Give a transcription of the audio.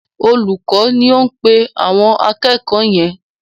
Olùkọ́ ni ó ń pe àwọn akẹ̀kọ́ọ̀ yẹn.